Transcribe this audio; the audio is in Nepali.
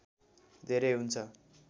धेरै हुन्छ